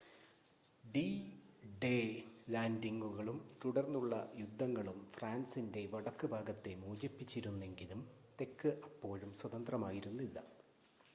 D-Day ലാൻഡിംഗുകളും തുടർന്നുള്ള യുദ്ധങ്ങളും ഫ്രാൻസിൻ്റെ വടക്ക് ഭാഗത്തെ മോചിപ്പിച്ചിരുന്നെങ്കിലും തെക്ക് അപ്പോഴും സ്വതന്ത്രമായിരുന്നില്ല